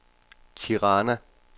Tirana